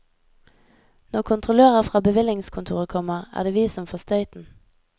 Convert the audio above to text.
Når kontrollører fra bevillingskontoret kommer, er det vi som får støyten.